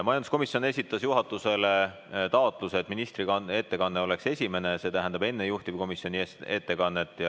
Majanduskomisjon esitas juhatusele taotluse, et ministri ettekanne oleks enne juhtivkomisjoni esindaja ettekannet.